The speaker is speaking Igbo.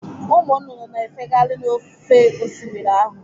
Ụmụ nnụnụ na-efegharị n'ofe Osimiri ahụ.